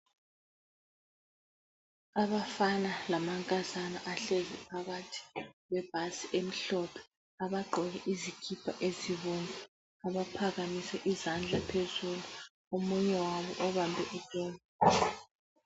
Abafana lamankazana bahlezi phakathi kwebhasi emhlophe, abagqoke izikipha ezibomvu. Abaphakamise izandla phezulu omunye wabo ubambe iphone.